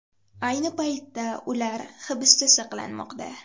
Ayni paytda ular hibsda saqlanmoqda.